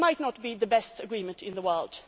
It might not be the best agreement in the world.